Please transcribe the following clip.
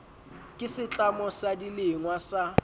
ke setlamo sa dilengwa sa